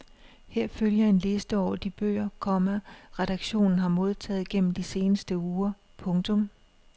Her følger en liste over de bøger, komma redaktionen har modtaget gennem de seneste uger. punktum